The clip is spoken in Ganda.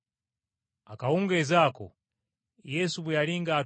Akawungeezi ako Yesu bwe yali ng’atudde